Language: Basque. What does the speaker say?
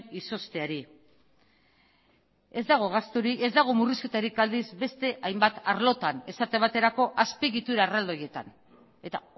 izozteari ez dago gasturik ez dago murrizketarik aldiz beste hainbat arlotan esate baterako azpiegitura erraldoietan eta